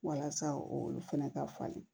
Walasa olu fɛnɛ ka falen